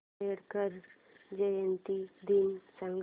आंबेडकर जयंती दिन सांग